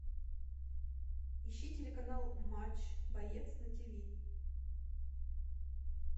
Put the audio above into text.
ищи телеканал матч боец на тиви